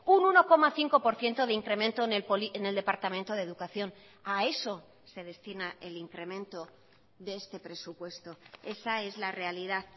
un uno coma cinco por ciento de incremento en el departamento de educación a eso se destina el incremento de este presupuesto esa es la realidad